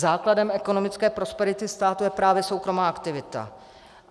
Základem ekonomické prosperity státu je právě soukromá aktivita.